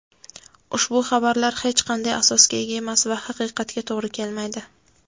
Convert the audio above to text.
ushbu xabarlar hech qanday asosga ega emas va haqiqatga to‘g‘ri kelmaydi.